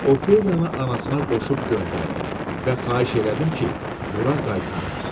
Ofeliyanı anasına qoşub göndərdim və xahiş elədim ki, bura qaytarmasın.